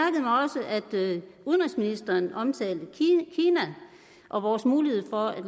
udenrigsministeren omtalte kina og vores mulighed for